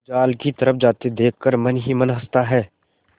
जाल की तरफ जाते देख कर मन ही मन हँसता है